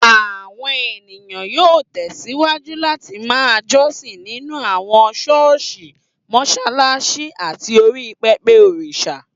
Àwọn ènìyàn yóò tẹ̀síwájú láti ma jọ́sìn nínú àwọn ṣọ́ọ̀ṣì, mọṣáláṣí tàbí orí pẹpẹ òrìṣà